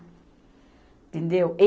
Entendeu?